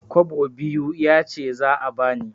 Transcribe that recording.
Kwabo biyu yace za a bani.